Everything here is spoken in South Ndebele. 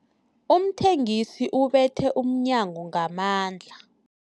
Umthengisi ubethe umnyango ngamandla.